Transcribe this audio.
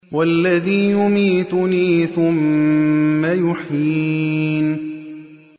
وَالَّذِي يُمِيتُنِي ثُمَّ يُحْيِينِ